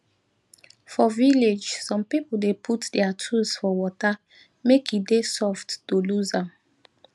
for village some people dey put their tools for water make e dey soft to lose am